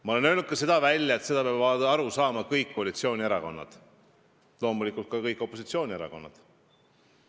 Ma olen öelnud välja ka seda, et sellest peavad aru saama kõik koalitsioonierakonnad ja loomulikult ka kõik opositsioonierakonnad.